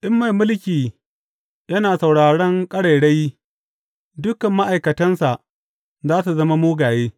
In mai mulki yana sauraran ƙarairayi, dukan ma’aikatansa za su zama mugaye.